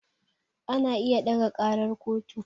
Ana iya ɗaga ƙarar kotu